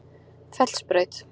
Fellsbraut